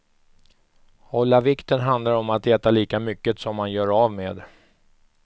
Hålla vikten handlar om att äta lika mycket som man gör av med.